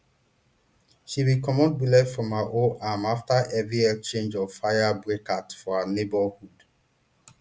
she bin comot bullet from her own arm after heavy exchange of fire break out for her neighbourhood